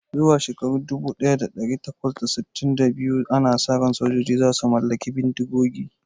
Zuwa shekara dubu daya da dari takwas da sittin da biyu, ana sa ran sojoji za su mallaki bindigogi